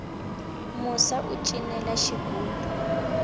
musa u cinela xigubu